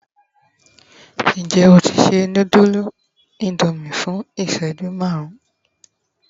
njé o ti se nudulu Indomie fún iṣẹju marun